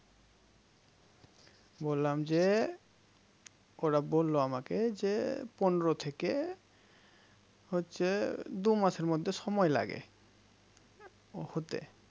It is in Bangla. বললাম যে ওরা বলল আমাকে যে পনেরো থেকে হচ্ছে দু মাসের মধ্যে সময় লাগে হতে